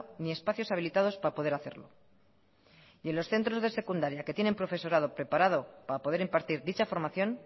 ni espacios habilitados para poder hacerlo y en los centros de secundaria que tienen profesorado preparado para poder impartir dicha formación